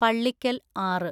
പള്ളിക്കൽ ആറ്